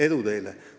Edu teile!